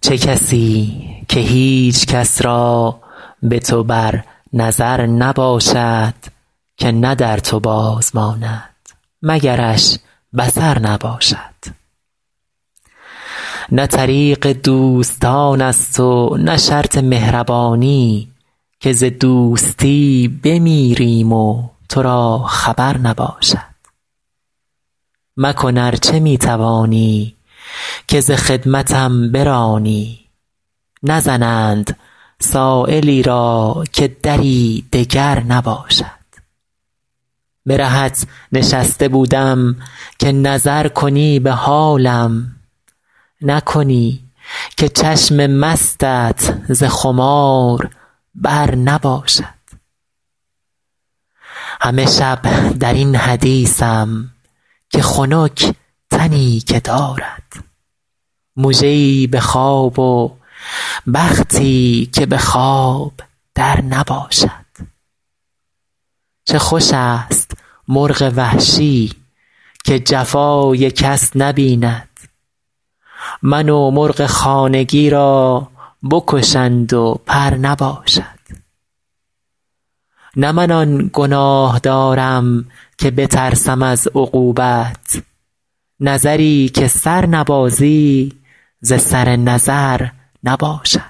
چه کسی که هیچ کس را به تو بر نظر نباشد که نه در تو باز ماند مگرش بصر نباشد نه طریق دوستان است و نه شرط مهربانی که ز دوستی بمیریم و تو را خبر نباشد مکن ار چه می توانی که ز خدمتم برانی نزنند سایلی را که دری دگر نباشد به رهت نشسته بودم که نظر کنی به حالم نکنی که چشم مستت ز خمار بر نباشد همه شب در این حدیثم که خنک تنی که دارد مژه ای به خواب و بختی که به خواب در نباشد چه خوش است مرغ وحشی که جفای کس نبیند من و مرغ خانگی را بکشند و پر نباشد نه من آن گناه دارم که بترسم از عقوبت نظری که سر نبازی ز سر نظر نباشد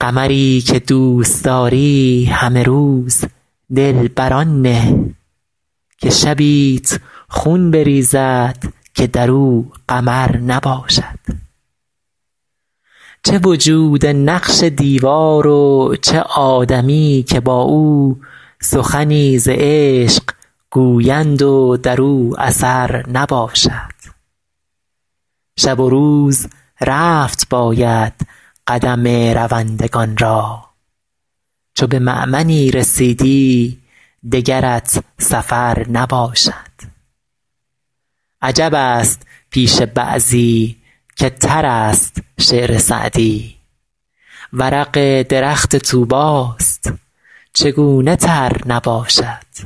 قمری که دوست داری همه روز دل بر آن نه که شبیت خون بریزد که در او قمر نباشد چه وجود نقش دیوار و چه آدمی که با او سخنی ز عشق گویند و در او اثر نباشد شب و روز رفت باید قدم روندگان را چو به مأمنی رسیدی دگرت سفر نباشد عجب است پیش بعضی که تر است شعر سعدی ورق درخت طوبی ست چگونه تر نباشد